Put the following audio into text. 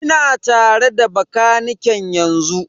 Ina tare da bakaniken yanzu.